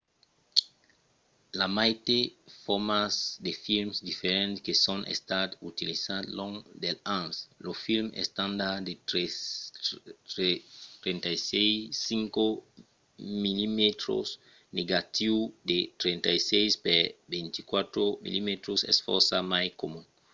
i a maites formats de films diferents que son estats utilizats long dels ans. lo film estandard de 35 mm negatiu de 36 per 24 mm es fòrça mai comun